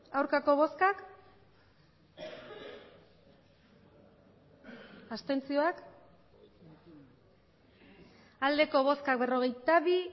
hirurogeita hamairu bai berrogeita bi